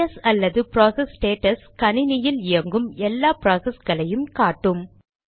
PS அல்லது process status கணினியில் இயங்கும் எல்லா ப்ராசஸ்களையும் காட்டும்